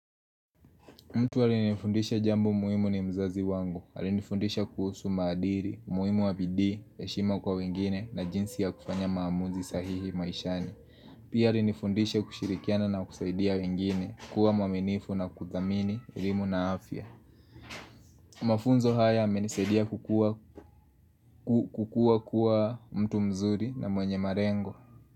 Mtu aliyenifundisha jambo muimu ni mzazi wangu. Alinifundisha kuhusu maadiri, umuimu wa bidii, heshima kwa wengine na jinsi ya kufanya maamuzi sahihi maishani. Pia alinifundisha kushirikiana na kusaidia wengine kuwa mwaminifu na kuthamini, elimu na afya. Mafunzo haya yamenisaidia kukua kuwa mtu mzuri na mwenye marengo.